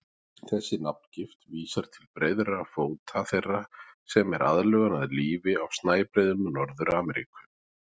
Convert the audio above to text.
Þessi nafngift vísar til breiðra fóta þeirra, sem er aðlögun að lífi á snæbreiðum Norður-Ameríku.